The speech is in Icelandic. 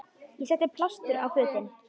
Ég setti blástur á fötin.